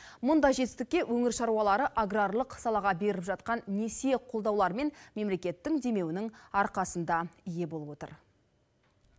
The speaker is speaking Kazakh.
мұндай жетістікке өңір шаруалары аграрлық салаға беріліп жатқан несие қолдаулар мен мемлекеттің демеуінің арқасында ие болып отыр